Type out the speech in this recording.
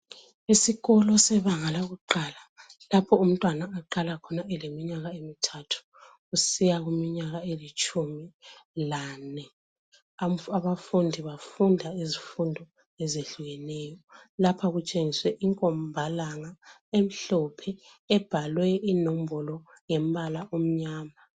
Isikolo sebanga lakuqala ,lapho umntwana aqala khona eleminyaka emithathu kusiya kwelitshumi lane. Abafundi bafunda izifundo ezehlukeneyo. Lapha kutshengiswe inkombalanga emhlophe ebhalwe inombolo ngombala omnyama.